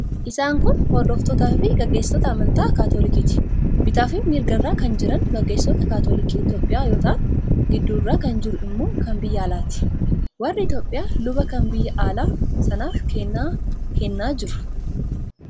Isaan kun hordoftootaafi gaggeessitoota amantaa Kaatolikiiti. Bitaafi mirga irra kan jiran gaggeessitoota Kaatolikii Itiyoophiyaa yoo ta'an, gidduu irra kan jiru immoo kan biyya alaati. Warri Itiyoophiyaa luba kan biyya alaa sanaaf kennaa kennaa jiru.